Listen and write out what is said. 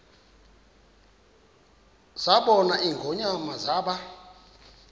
zabona ingonyama zaba